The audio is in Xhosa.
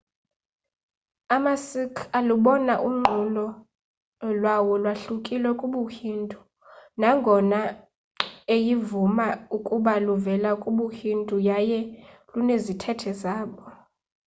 amasikh alubona unqulo lwawo lwahlukile kubuhindu nangona eyivuma ukuba luvela kubuhindu yaye lunezithethe zabo